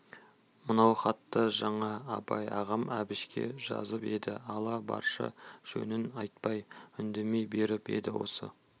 мынау хатты жаңа абай ағам әбішке жазып еді ала баршы жөнін айтпай үндемей беріп еді осы